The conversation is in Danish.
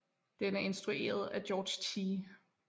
Den er instrueret af George T